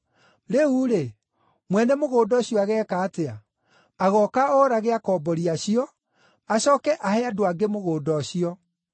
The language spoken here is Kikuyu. “Rĩu-rĩ, mwene mũgũnda ũcio ageeka atĩa? Agooka oorage akombori acio, acooke ahe andũ angĩ mũgũnda ũcio.